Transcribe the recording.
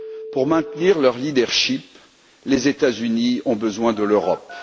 Pour maintenir leur leadership les États Unis ont besoin de l'Europe.